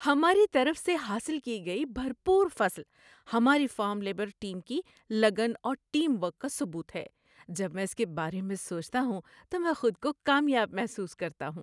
ہماری طرف سے حاصل کی گئی بھرپور فصل ہماری فارم لیبر ٹیم کی لگن اور ٹیم ورک کا ثبوت ہے۔ جب میں اس کے بارے میں سوچتا ہوں تو میں خود کو کامیاب محسوس کرتا ہوں۔